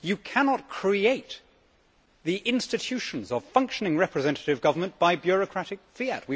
You cannot create the institutions of functioning representative government by bureaucratic fiat.